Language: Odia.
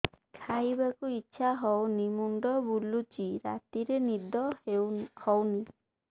ଖାଇବାକୁ ଇଛା ହଉନି ମୁଣ୍ଡ ବୁଲୁଚି ରାତିରେ ନିଦ ହଉନି